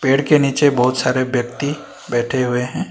पेड़ के नीचे बहुत सारे व्यक्ति बैठे हुए हैं।